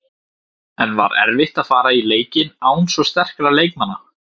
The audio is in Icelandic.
En var erfitt að fara í leikinn án svo sterkra leikmanna?